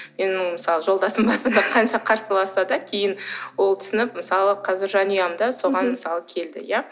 жолдасым мысалы басында қанша қарсыласса да кейін ол түсініп мысалы қазір жанұям да соған мысалы келді иә